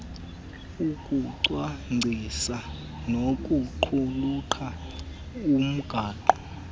ukucwangcisa nokuqulunqa umgaqo